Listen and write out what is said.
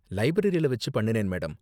லைப்ரரில வெச்சு பண்ணுனேன் மேடம்.